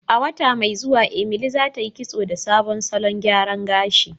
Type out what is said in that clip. A wata mai zuwa, Emily zatayi kitso da sabon salon gyaran gashi.